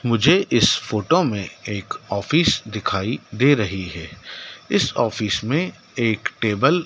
मुझे इस फोटो में एक ऑफिस दिखाई दे रही है इस ऑफिस में एक टेबल --